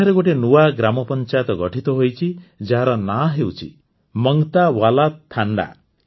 ଏଠାରେ ଗୋଟିଏ ନୂଆ ଗ୍ରାମପଂଚାୟତ ଗଠିତ ହୋଇଛି ଯାହାର ନାଁ ହେଉଛି ମଙ୍ଗତ୍ୟାୱାଲ୍ୟା ଥାଣ୍ଡା